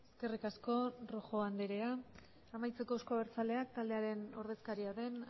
eskerrik asko rojo anderea amaitzeko euzko abertzaleak taldearen ordezkaria den